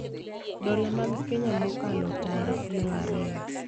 dola mag Kenya mokalo tara piero ariyo